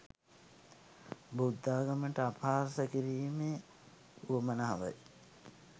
බුද්ධාගමට අපහාස කිරිමේ උවමනාවයි